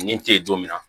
Nin te don min na